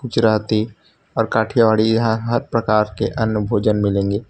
गुजराती और काठियावाड़ी यहां हर प्रकार के अन्य भोजन मिलेंगे --